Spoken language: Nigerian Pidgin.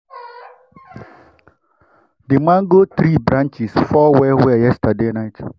we hail elders wey dey waka go their farm as we dey come we dey come back.